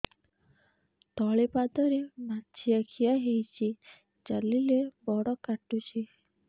ତଳିପାଦରେ ମାଛିଆ ଖିଆ ହେଇଚି ଚାଲିଲେ ବଡ଼ କାଟୁଚି